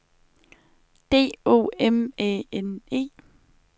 D O M Æ N E